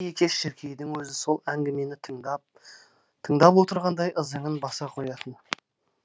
шіркей екеш шіркейдің өзі сол әңгімені тыңдап отырғандай ызыңын баса қоятын